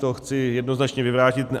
To chci jednoznačně vyvrátit.